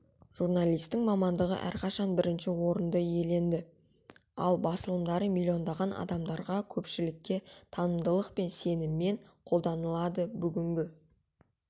журналисттің мамандығы әрқашан бірінші орынды иеленді ал басылымдары миллиондаған адамдарда көпшілікке танымдылықпен және сеніммен қолданылады бүгінгі